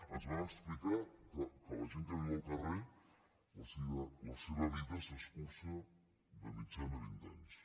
ens van explicar que a la gent que viu al carrer la seva vida s’escurça de mitjana vint anys